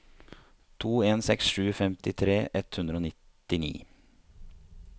to en seks sju femtitre ett hundre og nittini